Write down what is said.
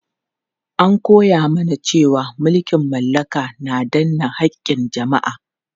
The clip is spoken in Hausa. An koya mana cewa mulkin mallaka na danne haƙƙin jama'a.